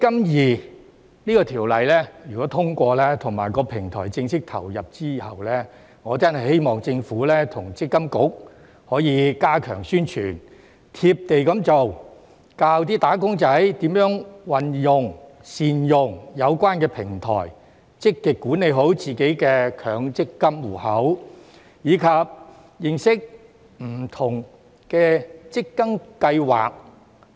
如果《條例草案》獲得通過，在"積金易"平台正式投入運作之後，我真的希望政府與積金局可以加強宣傳、"貼地"地做、教"打工仔"如何運用、善用有關平台，積極管理好自己的強積金戶口，以及認識不同的強積金計劃。